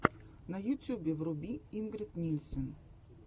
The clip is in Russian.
на ютюбе вруби ингрид нильсен